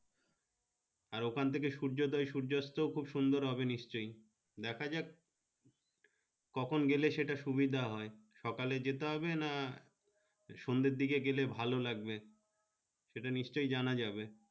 আর ওখান থাকে সূর্য দয় সূর্যাস্ত খুব সুন্দর হবে নিশ্চয় দেখা যাক কখন গেলে সেটা সুবিধা হয় সকলে যেতেহবে না সন্ধে দিকে গেলে ভালো লাগবে সেটা নিশ্চয় জানাযাবে।